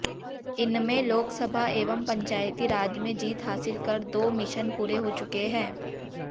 इनमें लोकसभा एवं पंचायती राज में जीत हासिल कर दो मिशन पूरे हो चुके हैं